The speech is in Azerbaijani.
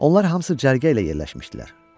Onlar hamısı cərgə ilə yerləşmişdilər.